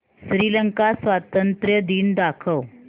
श्रीलंका स्वातंत्र्य दिन दाखव